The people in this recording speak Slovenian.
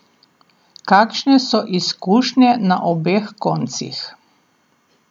Kakšne so izkušnje na obeh koncih?